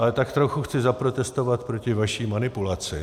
Ale tak trochu chci zaprotestovat proti vaší manipulaci.